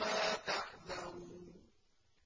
مَّا تَحْذَرُونَ